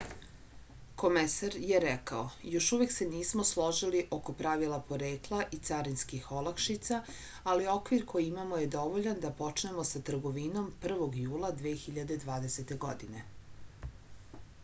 komesar je rekao još uvek se nismo složili oko pravila porekla i carinskih olakšica ali okvir koji imamo je dovoljan da počnemo sa trgovinom 1. jula 2020. godine